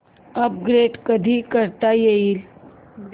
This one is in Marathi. अपडेट कधी करता येईल